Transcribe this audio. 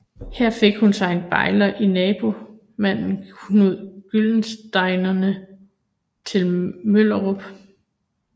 Her fik hun sig en bejler i naboherremanden Knud Gyldenstierne til Møllerup